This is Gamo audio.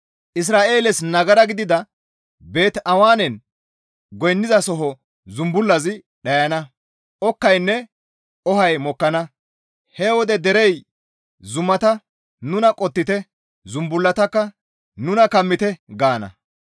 Isra7eeles nagara gidida Beet-Awenen goynnizasoho zumbullazi dhayana; okkaynne ohay mokkana; He wode derey zumata, «Nuna qottite!» zumbullatakka «Nuna kammite!» gaana.